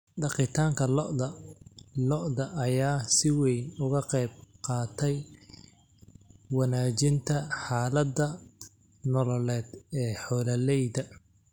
Dhaqitaanka lo'da lo'da ayaa si weyn uga qayb qaatay wanaajinta xaaladda nololeed ee xoolaleyda.